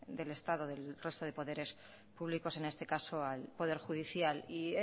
del estado resto de poderes públicos en este caso al poder judicial y